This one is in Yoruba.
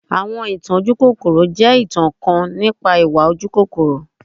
Awọn itan ojukokoro jẹ itan kan nipa iwa ojukokoro.